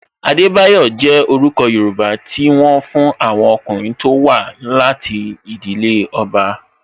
Adebayo jẹ orúkọ Yoruba ti wọn fún àwọn ọkùnrin tó wá láti ìdílé ọba